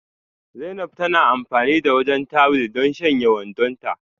Zainab na amfani da wajen tuwil don shanya wandonta.